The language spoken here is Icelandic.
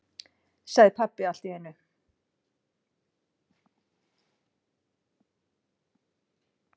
sagði pabbi allt í einu.